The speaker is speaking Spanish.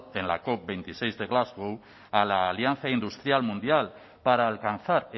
en la cop veintiseis de glasgow a la alianza industrial mundial para alcanzar